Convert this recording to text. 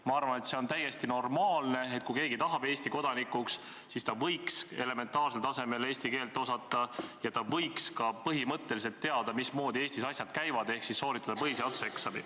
Ma arvan, et see on täiesti normaalne, et kui keegi tahab saada Eesti kodanikuks, siis võiks ta elementaarsel tasemel eesti keelt osata ja võiks ka põhimõtteliselt teada, mismoodi Eestis asjad käivad, ehk siis sooritada põhiseaduseksami.